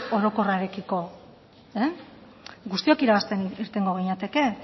orokorrarekiko guztiok irabazten irtengo ginateke